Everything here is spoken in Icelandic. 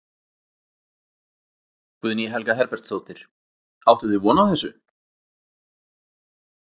Guðný Helga Herbertsdóttir: Áttuð þið von á þessu?